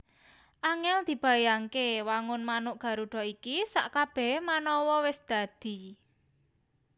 Angèl dibayangke wangun manuk Garuda iki sakkabèhé manawa wis dadi